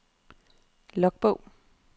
logbog